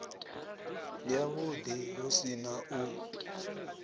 yavhuḓi hu si na u